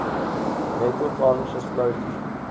metal tarnishes slowly